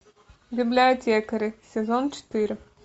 библиотекари сезон четыре